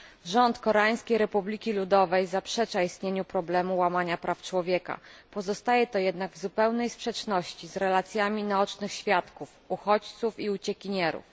Rząd Koreańskiej Republiki Ludowej zaprzecza istnieniu problemu łamania praw człowieka. Pozostaje to jednak w zupełnej sprzeczności z relacjami naocznych świadków uchodźców i uciekinierów.